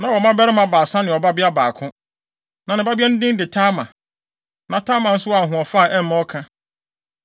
Na ɔwɔ mmabarima baasa ne ɔbabea baako. Na ne babea no din de Tamar. Na Tamar nso wɔ ahoɔfɛ a ɛmma ɔka.